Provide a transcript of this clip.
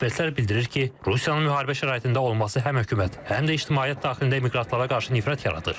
Ekspertlər bildirir ki, Rusiyanın müharibə şəraitində olması həm hökumət, həm də ictimaiyyət daxilində miqrantlara qarşı nifrət yaradır.